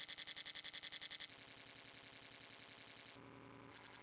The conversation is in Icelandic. Eyfi, hvernig er dagskráin í dag?